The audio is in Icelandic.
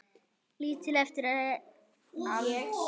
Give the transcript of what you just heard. Lítill eftir aldri.